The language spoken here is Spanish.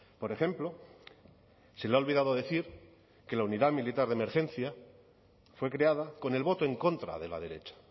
por ejemplo se le ha olvidado decir que la unidad militar de emergencia fue creada con el voto en contra de la derecha